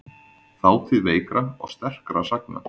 Þátíð veikra og sterkra sagna.